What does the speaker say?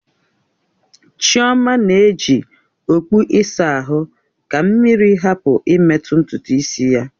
Chioma na-eji okpụ ịsa ahụ ka mmiri hapụ imetụ ntutu isi ya.